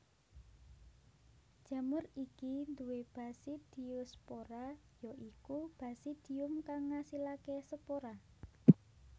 Jamur iki duwé basidiospora ya iku basidium kang ngasilaké spora